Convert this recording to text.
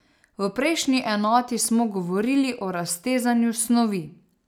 V prejšnji enoti smo govorili o raztezanju snovi.